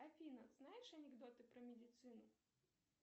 афина знаешь анекдоты про медицину